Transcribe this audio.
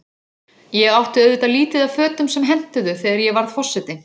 Ég átti auðvitað lítið af fötum sem hentuðu, þegar ég varð forseti.